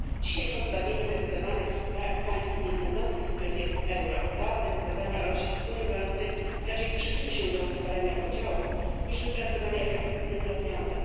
Dzisiaj pozbawienie deputowanych z państw niebędących w strefie euro prawa decydowania o losie wspólnej waluty raczej przyczyni się do utrwalenia podziałów niż wypracowania efektywnych rozwiązań.